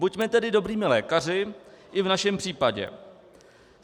Buďme tedy dobrými lékaři i v našem případě.